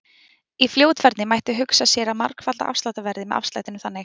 Í fljótfærni mætti hugsa sér að margfalda afsláttarverðið með afslættinum þannig: